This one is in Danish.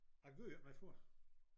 Jeg gør ikke meget for det